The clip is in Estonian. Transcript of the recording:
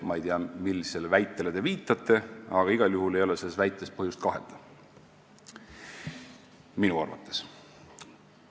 " Ma ei tea, millisele väitele te viitate, aga igal juhul ei ole selles väites põhjust kahelda, minu arvates.